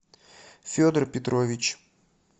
федор петрович